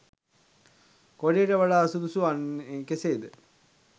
කොඩියට වඩා සුදුසු වන්නේ කෙසේද?